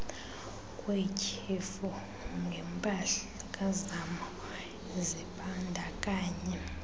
kwetyhefu ngempazamo zibandakanya